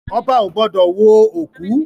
Ọba ò gbọ́dọ̀ wo òkú